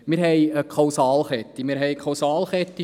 Wir haben eine Kausalkette: